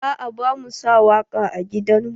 A'a bamu sa waƙa a gidan mu.